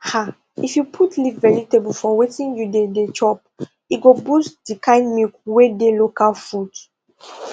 ah if you put leaf vegetable for wetin you dey dey chop e go boost di kind milk wey dey local foods